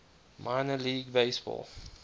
minor league baseball